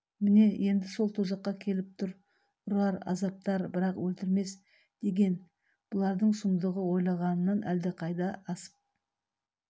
міне енді сол тозаққа келіп тұр ұрар азаптар бірақ өлтірмес деген бұлардың сұмдығы ойлағанынан әлдеқайда асып